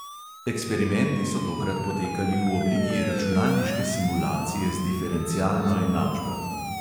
Eksperimenti so tokrat potekali v obliki računalniške simulacije z diferencialno enačbo.